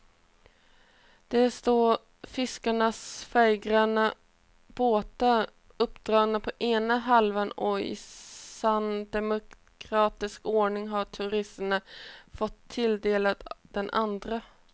Där står fiskarnas färggranna båtar uppdragna på ena halvan och i sann demokratisk ordning har turisterna fått sig tilldelade den andra.